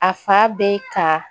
A fa bɛ ka